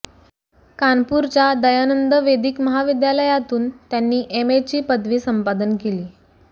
कानपूरच्या दयानंद वेदीक महाविद्यालयातून त्यांनी एमएची पदवी संपादन केली